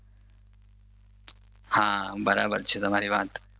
હા બરાબર છે તમારી વાત